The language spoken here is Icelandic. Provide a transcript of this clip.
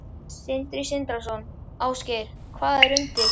Sindri Sindrason: Ásgeir, hvað er undir?